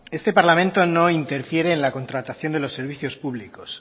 este parlamento no interfiere en la contratación de los servicios públicos